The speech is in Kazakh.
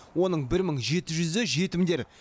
оның бір мың жеті жүзі жетімдер